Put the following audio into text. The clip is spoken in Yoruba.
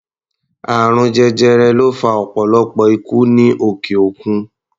Àrùn jẹjẹrẹ ló fa ọ̀pọ̀lọpọ̀ ikú ní òkè-òkun.